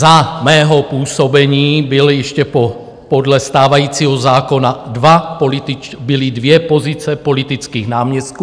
Za mého působení byli ještě podle stávajícího zákona dva političtí - byly dvě pozice politických náměstků.